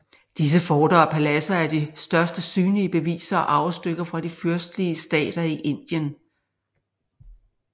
Disse forter og paladser er de største synlige beviser og arvestykker fra de fyrstelige stater i Indien